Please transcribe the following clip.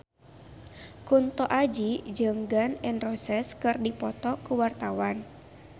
Kunto Aji jeung Gun N Roses keur dipoto ku wartawan